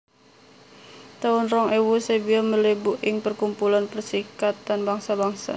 taun rong ewu Serbia mlebu ing parkumpulan Perserikatan Bangsa Bangsa